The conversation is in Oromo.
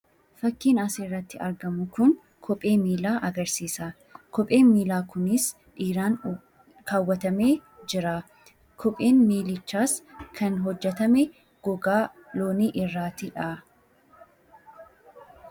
Fakkiin as irratti argamu kun kophee miilaa agarsiisa. Kopheen miilaa kunis kan inni irraa hojjetame gogaa irraati. Kophichas kan keewwatee jiru dhiira fakkaata.